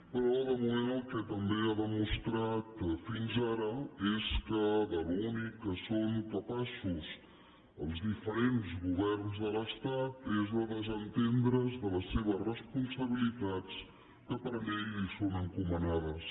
però de moment el que també ha demostrat fins ara és que de l’únic que són capaços els diferents governs de l’estat és de desentendre’s de les seves responsabilitats que per llei els són encomanades